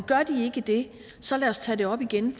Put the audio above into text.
gør de ikke det så lad os tage det op igen